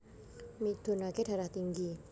Midunake Darah Tinggi